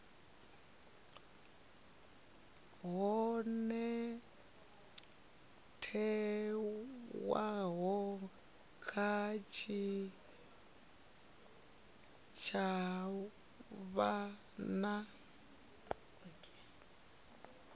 ho thewaho kha tshitshavha na